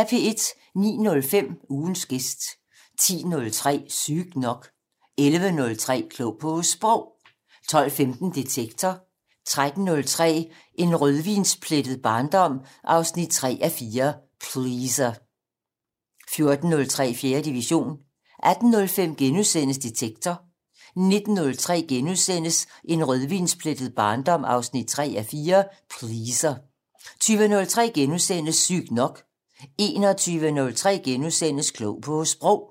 09:05: Ugens gæst 10:03: Sygt nok 11:03: Klog på Sprog 12:15: Detektor 13:03: En rødvinsplettet barndom 3:4 - Pleaser 14:03: 4. division 18:05: Detektor * 19:03: En rødvinsplettet barndom 3:4 - Pleaser * 20:03: Sygt nok * 21:03: Klog på Sprog *